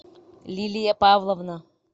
лилия павловна